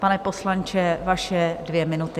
Pane poslanče, vaše dvě minuty.